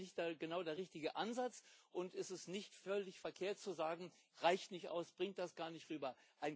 Ist das nicht genau der richtige Ansatz, und ist es nicht völlig verkehrt zu sagen Reicht nicht aus, bringt das gar nicht rüber.